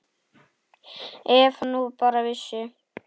Ef hann nú bara vissi.